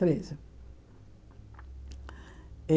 Treze.